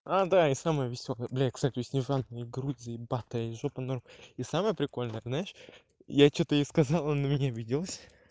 а да и самоё весёлое блядь к стати у снежанки грудь заебатая и жопа норм и самое прикольное знаешь я что-то ей сказал она на меня обиделась